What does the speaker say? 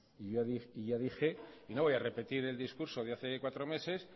y yo dije y no voy a repetir el discurso de hace cuatro meses